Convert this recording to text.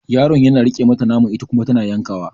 Yaron yana riƙe mata naman ita kuma tana yankawa.